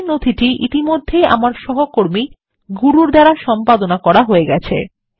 এই নথিটি ইতিমধ্যেই আমার সহকর্মী গুরুর দ্বারা সম্পাদনা করা হয়ে গেছে